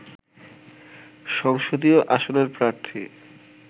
সংসদীয় আসনের প্রার্থী